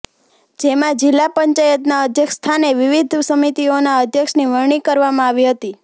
જેમા જિલ્લા પંચાયતના અધ્યક્ષ સ્થાને વિવિધ સમિતિઓના અધ્યક્ષની વરણી કરવામા આવી હતી